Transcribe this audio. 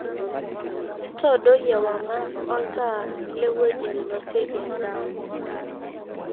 intodoi ewang'an oltaa le ewueji ninosieki endaa